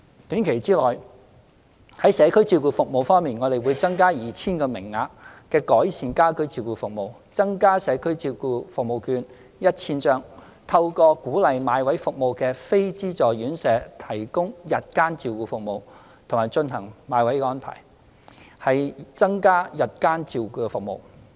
短期內，在社區照顧服務方面，我們會增加 2,000 個名額的改善家居照顧服務、增加社區照顧服務券 1,000 張、透過鼓勵買位服務的非資助院舍提供日間照顧服務，並進行買位的安排，以增加日間照顧服務。